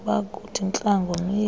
bakuthi ntla ngomyeni